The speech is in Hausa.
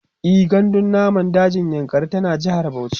e gandun namun dajin yankari tana jehar Bauchi